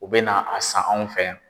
U bɛ na a san anw fɛ yan.